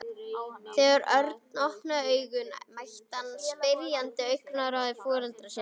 Þegar Örn opnaði augun mætti hann spyrjandi augnaráði foreldra sinna.